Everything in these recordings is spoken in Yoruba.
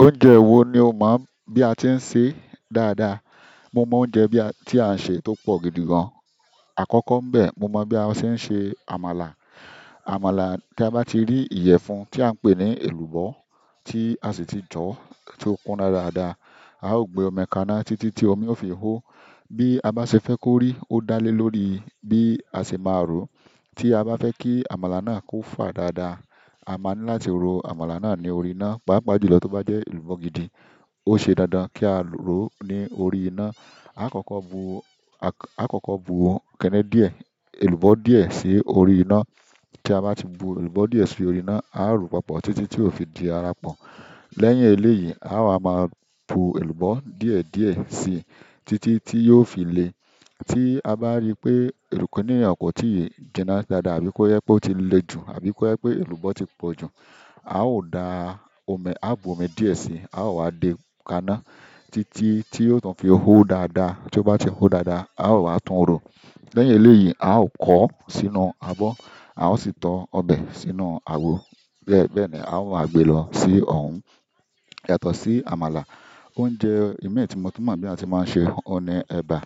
Oúnjẹ wo ni o mọ̀ bí a ti ń sè é dáadáa? Mo mọ oúnjẹ bí a, tí a ń ṣe tó pọ̀ gidi gan. Àkọ́kọ́ n bẹ̀, mo mọ bí a ṣe ń ṣe àmàlà. Àmàlà, ti a bá ti rí ìyẹ̀fun tí à ń pè ní èlùbọ́ tí a sì ti jọ, tí ó kúnna dáadáa, a ó gbé omi kaná títí tí omi ó fi hó. Bí a bá ṣe fẹ́ kó rí, ó dá lé lórí bí a ṣe máa rò. Tí a bá fẹ́ kí àmàlà náà kó fà dáadáa, a máa ní láti ro àmàlà náà ní orí iná. Paapaa ìjùlọ tó bá jẹ́ èlùbọ́ gidi, ó ṣe dandan kí á rò ó ní orí iná. A kọ́kọ́ bu, a kọ́kọ́ bu kínní díẹ̀, èlùbọ́ díẹ̀ sí orí iná. Ti a ba ti bu elubọ diẹ si orí ina, a o ro papọ̀ titi ti i fi di ara pọ. Lẹ́yìn eléyìí, a wa máa bu èlùbọ́ díẹ̀díẹ̀ sí i títí tí yóò fi le. Tí a bá rí pé èrùkúnìnrìn kò tíì jinná dáadáa àbí kó jẹ pé ó ti le jù àbí kó jẹ pé èlùbọ́ ti pọ̀ jù, a ó da omi, a bu omi díẹ̀ sí i, a ó wá de kaná títí tí ó tun fi hó dáadáa. Tí ó bá ti hó dáadáa, a ó wá tún un rò. Lẹ́yìn eleyii, a o kọ sínú abọ, a o si tọ ọbẹ sínú awo. Bẹ́ẹ̀, bẹ́ẹ̀ ni a ó máa gbé lọ sí ọun. Yàtọ̀ sí àmàlà, oúnjẹ ìmii ti mo tún mọ̀ bí eeyan se máa ń ṣe oun ni ẹba.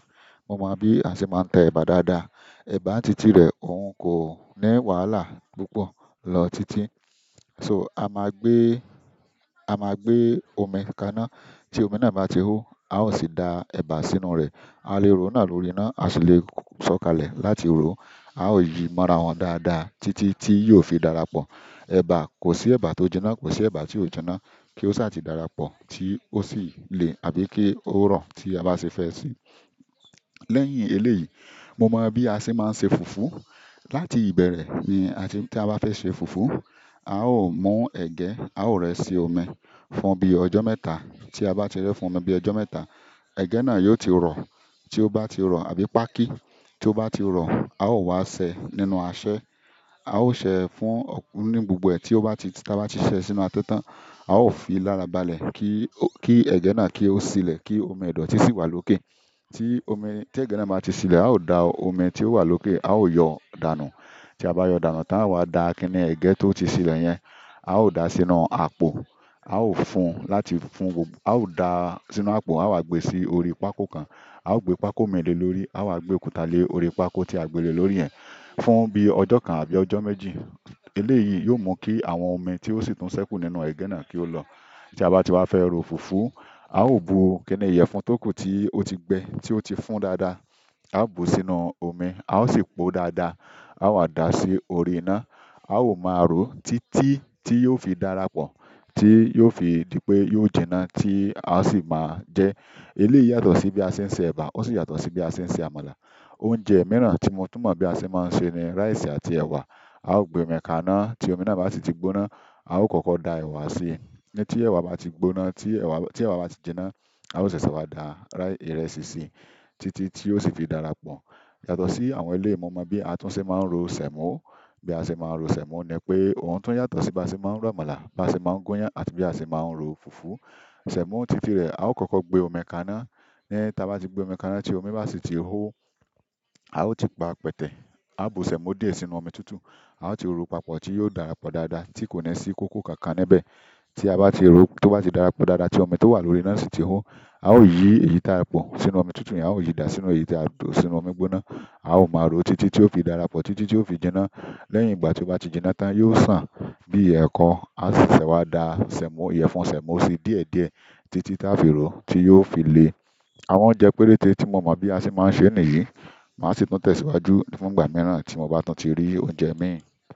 Mo mọ bí a ti máa ń tẹ ẹba dáadáa. Ẹba títí rẹ̀ òun kò ní wàhálà púpọ̀ lọ títí. So a máa gbé, a máa gbé omi kaná. Tí omi náà bá ti hó, a ó sì da ẹba sínú rẹ̀. A lè ro náà lórí iná, a sì le ṣọ́kalẹ̀ láti ro. A ó yi mọ́ra wọ́n dáadáa títí tí yóò fi darapọ̀. Ẹba kosi ẹba to jina, kosi ẹba tio jina. Kí ó sì á ti darapọ̀ tí ó sì lè àbí kí ó rọ̀ tí a bá ṣe fẹ́ sì í. Lẹ́yìn eléyìí, mo mọ bí a se máa ń ṣe fùfú. Láti ìbẹ̀rẹ̀ ni a ti, tí a bá fẹ́ ṣe fùfú, a ó mú ẹ̀gẹ́, a ó rẹ́ sí omi fún bíi ọjọ́ mẹ́ta. Ti a ba ti rẹ fún omi bi ọjọ mẹ́ta, ẹgẹ náà yo ti rọ. Tio ba ti rọ, àbí páàkì. Tio ba ti rọ, ao wa sẹ nínú asẹ. A ó ṣẹ̀ ẹ́ fún ọkun ní gbogbo ẹ̀ tí ó bá ti, tí a bá ti ṣẹ̀ ẹ́ sínú asẹ tán, a ó fi lára balẹ̀ kí, kí ẹ̀gẹ́ náà kí ó sílẹ̀ kí omi idọti si wá lókè. Ti ẹgẹ náà ba ti silẹ, ao da omi ti o wa loke ao yọ danu. Tí a bá yọ̀ dànù tán, a wa da kínní ẹ̀gẹ́ tó ti sílẹ̀ yẹn. A ó da a sínú àpò, a ó fún láti fún gbogbo, a ó da a sínú àpò, a ó gbé sí orí pákó kan. A ó gbé pákó mii le lórí. A ó wá gbé òkúta lé orí pákó tí a gbé lè lórí yẹn fún bíi ọjọ́ kan àbí ọjọ́ méjì. Eléyìí yóò mú kí àwọn omi tí ó sì tún ṣẹ́kù nínú ẹ̀gẹ́ náà kí ó lọ. Ti a ba ti wa fẹ ro fufu ao bu kini yẹfun toku ti o ti gbẹ ti o ti fún dáadáa ao bu sínú omi ao si po o dáadáa, a wa da si orí ina. A ó máa ro títí tí yóò fi darapọ̀, tí yóò fi di pé yóò jinná tí a sì máa jẹ ẹ́. Eléyìí yàtọ̀ sí bí a ṣe ń ṣe ẹba, ó sì yàtọ̀ sí bí a ṣe ń ṣe àmàlà. Oúnjẹ mìíràn tí mo tún mọ̀ bí a ṣe máa ń ṣe ni ráìsì àti ẹ̀wà. A ó gbé omi kaná, tí omi náà bá sì ti gbóná, a ó kọ́kọ́ da ẹ̀wà sí i. Tí ẹ̀wà bá ti gbóná, tí ẹ̀wà, tí ẹ̀wà bá ti jinná, a ó ṣẹ̀ṣẹ̀ wá da ìrẹsì sí i títí tí ó sì fi darapọ̀. Yàtọ̀ sí àwọn eléyìí, mo mọ bí a tún ṣe máa ń ro sẹ̀mọ́. Bi a se ma n ro sẹmo nipe oun tun yàtọ̀ si bi a se ma n ro àmàlà, bi a se ma n gunyan àti bi a se ma n ro fufu. Sẹ̀mọ́ títí rẹ̀, a ó kọ́kọ́ gbé omi kaná. Tí a bá ti gbé omi kaná, tí omi bá sì ti hó, a ó ti pa pẹtẹ. A ó bu sẹ̀mo díẹ̀ sínú omi tútù. A ó ti ro papọ̀ tí yóò darapọ̀ dáadáa tí kò ní sí kókó kankan níbẹ̀. Tí a bá ti ro, tó bá ti darapọ̀ dáadáa tí omi tó wà lórí náà sì ti hó, a ó yi èyí táa pọ̀ sínú omi tútù, a ó yi dà sínú èyí tí a bù sínú omi gbóná. A ó máa ro títí tí ó fi darapọ̀, títí tí ó fi jinná. Lẹ́yìn ìgbà tí ó bá ti jinná tán, yóò sàn bí ẹ̀kọ. A ó sì ṣẹ́ wá da sẹ̀mọ́, ìyẹ̀fun sẹ̀mọ́ sí i díẹ̀díẹ̀ títí táa fi ró tí yóò fi le. Àwọn oúnjẹ péréte tí mo mọ̀ bí a ṣe máa ń ṣe nìyí. Màá sì tún tẹ̀síwájú fún ìgbà mìíràn tí mo bá tún ti rí oúnjẹ mìíràn.